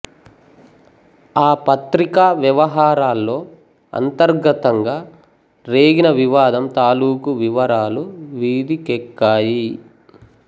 ఆ పత్రిక వ్యవహారాల్లో అంతర్గతంగా రేగిన వివాదం తాలూకు వివరాలు వీధికెక్కాయి